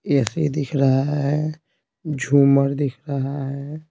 AC दिख रहा है झूमर दिख रहा है।